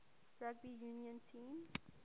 rugby union team